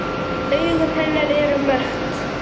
Augu hennar eru mött.